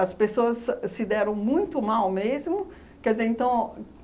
As pessoas se deram muito mal mesmo. Quer dizer, então